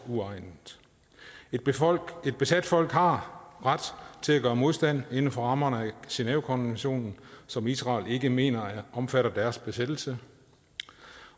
uegnet et besat folk har ret til at gøre modstand inden for rammerne af genèvekonventionen som israel ikke mener omfatter deres besættelse